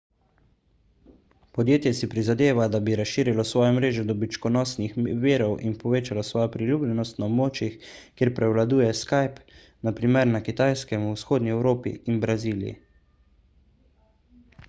podjetje si prizadeva da bi razširilo svojo mrežo dobičkonosnih virov in povečalo svojo priljubljenost na območjih kjer prevladuje skype na primer na kitajskem v vzhodni evropi in braziliji